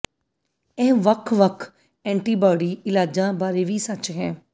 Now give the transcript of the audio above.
ਇਹ ਵੱਖ ਵੱਖ ਐਂਟੀਬਾਡੀ ਇਲਾਜਾਂ ਬਾਰੇ ਵੀ ਸੱਚ ਹੈ